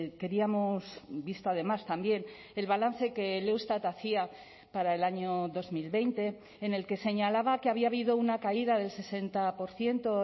queríamos visto además también el balance que el eustat hacía para el año dos mil veinte en el que señalaba que había habido una caída del sesenta por ciento